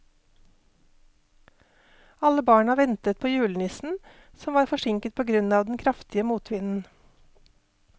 Alle barna ventet på julenissen, som var forsinket på grunn av den kraftige motvinden.